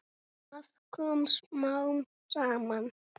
Það kom smám saman.